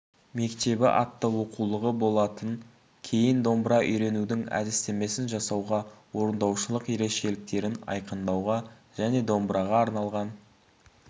мектебі атты оқулығы болатын кейін домбыра үйренудің әдістемесін жасауға орындаушылық ерекшеліктерін айқындауға және домбыраға арналған